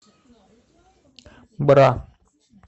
бра